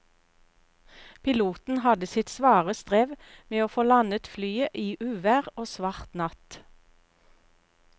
Piloten hadde sitt svare strev med å få landet flyet i uvær og svart natt.